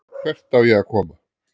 Hvert á ég að koma?